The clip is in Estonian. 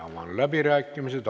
Avan läbirääkimised.